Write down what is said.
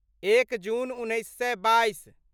एक जून उन्नैस सए बाइस